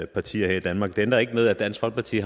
partier her i danmark det ændrer ikke ved at dansk folkeparti